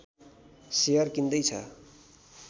share किन्दै छ